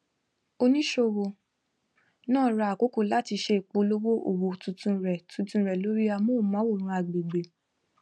oníṣòwò náà ra àkókò láti ṣe ìpolówó òwò tuntun rẹ tuntun rẹ lórí amóhùnmáwòrán agbègbè